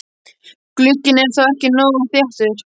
Glugginn er þá ekki nógu þéttur.